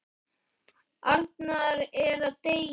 Arnar er að deyja.